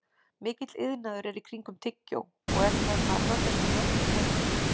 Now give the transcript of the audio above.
Mikill iðnaður er í kringum tyggjó og er það framleitt í mörgum löndum.